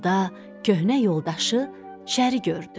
Yolda köhnə yoldaşı şəri gördü.